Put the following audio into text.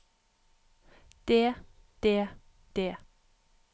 det det det